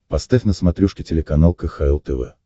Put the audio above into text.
поставь на смотрешке телеканал кхл тв